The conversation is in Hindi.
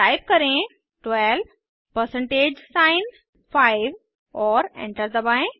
टाइप करें 12 परसेंटेज साइन 5 और एंटर दबाएं